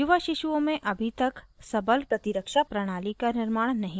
युवा शिशुओं में अभी तक सबल प्रतिरक्षा प्रणाली का निर्माण नहीं हुआ है